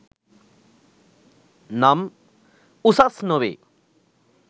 නම් උසස් නොවේ